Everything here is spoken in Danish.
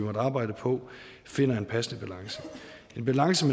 har arbejdet på finder en passende balance en balance